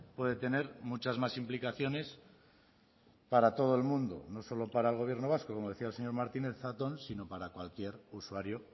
puede tener muchas más implicaciones para todo el mundo no solo para el gobierno vasco como decía el señor martínez zatón sino para cualquier usuario